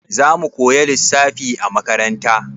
Za mu koya lissafi a makaranta?